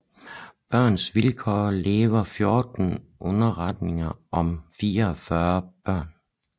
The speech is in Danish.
Børns Vilkår laver 14 underretninger om 44 børn